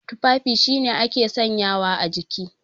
Tufafi shine ake sanyawa a jiki.